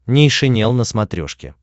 нейшенел на смотрешке